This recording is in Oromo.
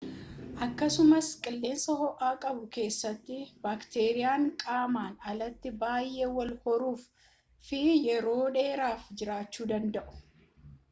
akkasumas qilleensa ho'a qabu keessatti baakteriiyan qaaman alatti baayee wal horuu fi yeroo dheeraaf jiraachu danda'u